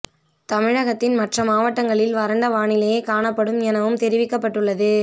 தமிழகத்தின் மற்ற மாவட்டங்களில் வறண்ட வானிலையே காணப்படும் எனவும் தெரிவிக்கப்பட்டு உள்ளது